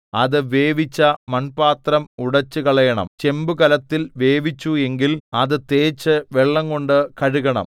അത് വേവിച്ച മൺപാത്രം ഉടച്ചുകളയണം ചെമ്പുകലത്തിൽ വേവിച്ചു എങ്കിൽ അത് തേച്ചു വെള്ളംകൊണ്ട് കഴുകണം